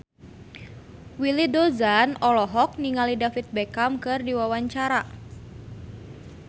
Willy Dozan olohok ningali David Beckham keur diwawancara